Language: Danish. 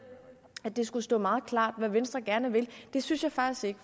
at det skulle stå meget klart hvad venstre gerne vil det synes jeg faktisk ikke